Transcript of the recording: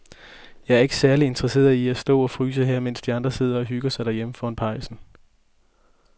Jeg er ikke særlig interesseret i at stå og fryse her, mens de andre sidder og hygger sig derhjemme foran pejsen.